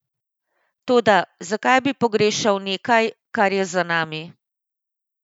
Toda, zakaj bi pogrešal nekaj, kar je za nami?